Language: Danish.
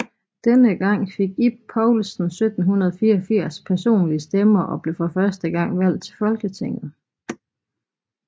Denne gang fik Ib Poulsen 1784 personlige stemmer og blev for første gang valgt til Folketinget